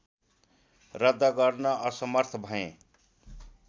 रद्द गर्न असमर्थ भएँ